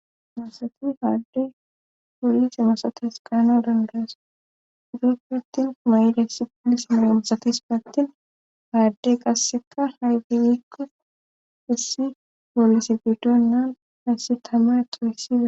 masati haaddey poolise masates qaano dandaas doo pattin kumayd essi oolis melamasatis paattin haaddey qasseka hayfiyikko hissi poolise fidon naan hayssi tama toyssida